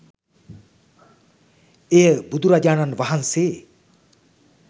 එය බුදුරජාණන් වහන්සේ